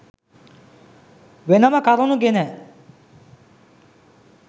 වෙනම කරුණු ගෙන